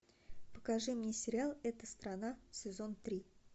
покажи мне сериал эта страна сезон три